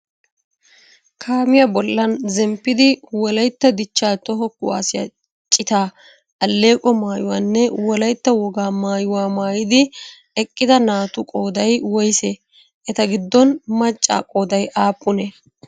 Kaamiyaa bollan zemppidi Wolayitta dichcha toho kuwasiyaa citaa alleeqo maayuwaanne wolaytta wogaa maayuwaa maayidi eqqida naatu qooday woysee? Eta giddon macca qooday aappunee?